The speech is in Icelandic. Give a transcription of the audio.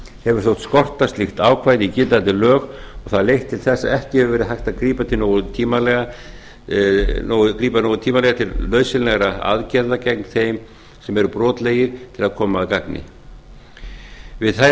hefur þótt skorta slík ákvæði í gildandi lög og það er hefur leitt til þess að auk hefur verið hægt að grípa nógu tímanlega til nauðsynlegra aðgerða gegn þeim sem eru brotlegir til að koma að gagni við þær